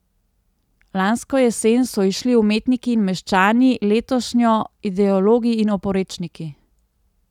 Lansko jesen so izšli Umetniki in meščani, letošnjo Ideologi in oporečniki.